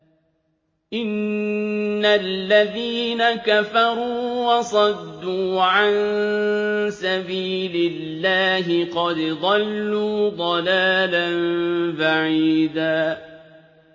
إِنَّ الَّذِينَ كَفَرُوا وَصَدُّوا عَن سَبِيلِ اللَّهِ قَدْ ضَلُّوا ضَلَالًا بَعِيدًا